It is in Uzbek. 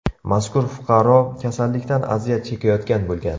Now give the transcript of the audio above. Mazkur fuqaro kasallikdan aziyat chekayotgan bo‘lgan.